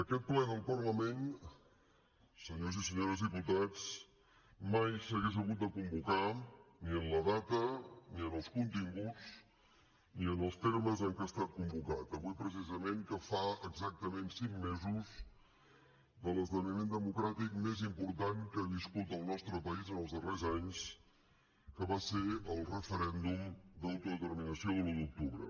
aquest ple del parlament senyors i senyores diputats mai s’hagués hagut de convocar ni en la data ni en els continguts ni en els termes en què ha estat convocat avui precisament que fa exactament cinc mesos de l’esdeveniment democràtic més important que ha viscut el nostre país en els darrers anys que va ser el referèndum d’autodeterminació de l’un d’octubre